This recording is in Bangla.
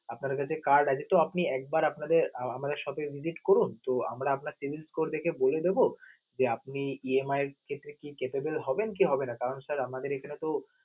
আপনার কাছে card আছে তো আপনে একবার আপনাদের আমাদের shop এ visit করুন তো আমরা আপনার savings score দেখে বলে দেব যে আপনি EMI এর ক্ষেত্রে কি capable হবেন কি হবেন না, কারণ sir আমাদের এখানে তো